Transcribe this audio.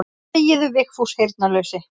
Þegiðu Vigfús heyrnarlausi.